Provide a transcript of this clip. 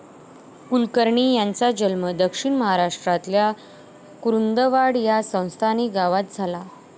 कुलकर्णी यांचा जन्म दक्षिण महाराष्ट्रातल्या कुरुंदवाड या संस्थानी गावात झाला.